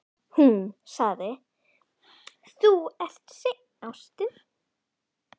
Hún sagði: Þú ert seinn, ástin.